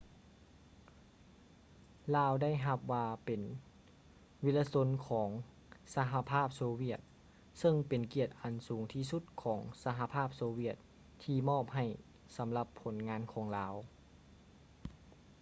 ລາວໄດ້ຮັບວ່າເປັນ ວິລະຊົນຂອງສະຫະພາບໂຊວຽດ ເຊິ່ງເປັນກຽດອັນສູງທີ່ສຸດຂອງສະຫະພາບໂຊວຽດທີ່ມອບໃຫ້ສຳລັບຜົນງານຂອງລາວ